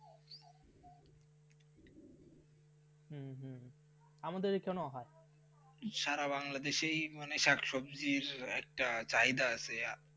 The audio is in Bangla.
হ্যাঁ হ্যাঁ আমাদের এখানে হয় সারা বাংলাদেশেই মানে শাকসবজি একটা চাহিদা আছে.